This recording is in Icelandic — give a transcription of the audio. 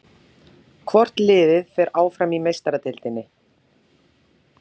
Hvort liðið fer áfram í Meistaradeildinni?